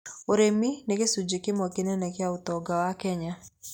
Ũrĩmi nĩ gĩcunjĩ kĩmwe kĩnene kĩa ũtonga wa Kenya.